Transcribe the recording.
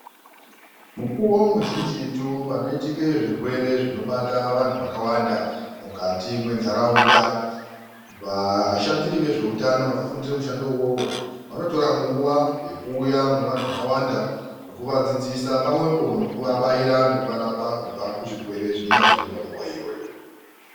Mukuwo muzhinjitu panoitika zvirwere zvinobata vantu vakawanda mukati mwenharaunda. Vashandiri vezveutano vakafundira mushando uwowo vanotora nguwa yekuuya mune vantu vakawanda nekuvadzidzisa. Pamwe po nekuvabaira, nekuvarapa kubva kuzvirwere zvinenge zviriyo nguwa iyoyo